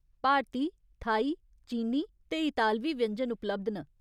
भारती, Thai, चीनी ते इतालवी व्यंजन उपलब्ध न।